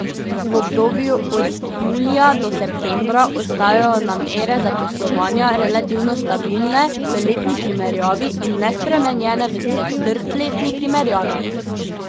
V obdobju od julija do septembra ostajajo namere zaposlovanja relativno stabilne v letni primerjavi in nespremenjene v četrtletni primerjavi.